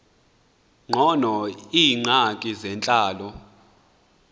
ngcono iingxaki zentlalo